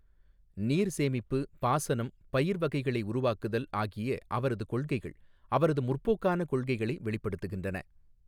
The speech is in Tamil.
நீர் சேமிப்பு, பாசனம், பயிர் வகைகளை உருவாக்குதல் ஆகிய அவரது கொள்கைகள் அவரது முற்போக்கான கொள்கைகளை வெளிப்படுத்துகின்றன.